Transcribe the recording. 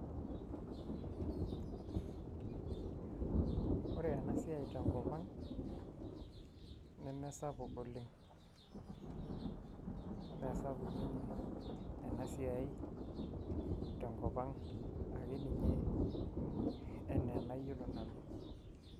Ore ena siai tenkop ang' nemesapuk oleng' mee sapuk ninye ena siai tenkop ang' ake ninye enaa enayiolo nanu.